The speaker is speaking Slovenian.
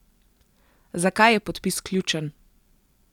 Zakaj je podpis ključen?